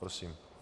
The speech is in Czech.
Prosím.